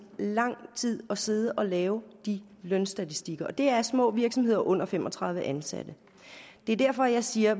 lang tid at sidde og lave de lønstatistikker det er små virksomheder med under fem og tredive ansatte det er derfor jeg siger